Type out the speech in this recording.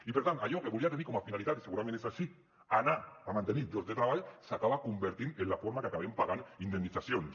i per tant allò que volia tenir com a finalitat i segurament és així anar a mantenir llocs de treball s’acaba convertint en la forma que acabem pagant indemnitzacions